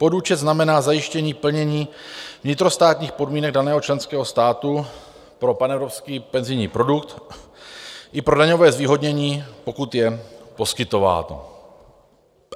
Podúčet znamená zajištění plnění vnitrostátních podmínek daného členského státu pro panevropský penzijní produkt i pro daňové zvýhodnění, pokud je poskytováno.